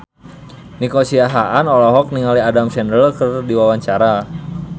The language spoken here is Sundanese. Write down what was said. Nico Siahaan olohok ningali Adam Sandler keur diwawancara